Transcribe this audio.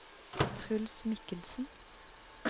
Truls Mikkelsen